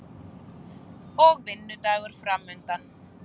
Og vinnudagur framundan.